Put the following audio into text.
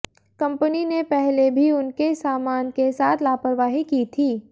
company ने पहले भी उनके सामान के साथ लापरवाही की थी